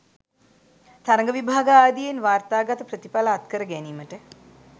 තරග විභාග ආදියෙන් වාර්තාගත ප්‍රතිඵල අත්කර ගැනීමට